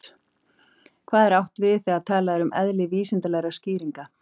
Hvað er átt við þegar talað er um eðli vísindalegra skýringa?